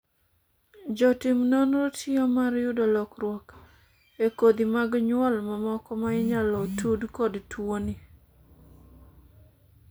jotim nonro tiyo mar yudo lokruoge e kodhi mag nyuol mamoko ma inyalo tud kod tuoni